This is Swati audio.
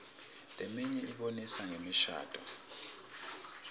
leminye ibonisa ngemishadvo